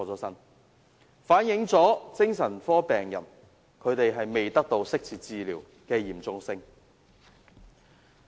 這反映精神科病人未能得到適切治療的嚴重性。